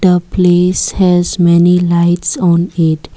The place has many lights on it.